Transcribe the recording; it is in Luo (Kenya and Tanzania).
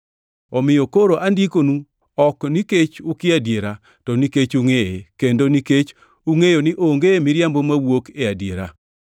Omiyo koro andikonu ok nikech ukia adiera, to nikech ungʼeye, kendo nikech ungʼeyo ni onge miriambo mawuok e adiera.